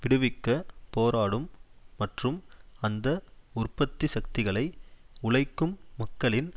விடுவிக்கப் போராடும் மற்றும் அந்த உற்பத்தி சக்திகளை உழைக்கும் மக்களின்